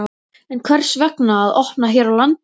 En hvers vegna að opna hér á landi?